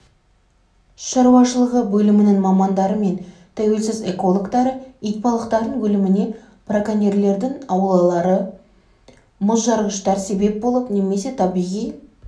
шаруашылығы бөлімінің мамандары мен тәуелсіз экологтары итбалықтардың өліміне браконерьлердің аулары мұзжарғыштар себеп болып немесе табиғи